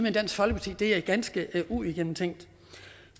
i dansk folkeparti er ganske uigennemtænkt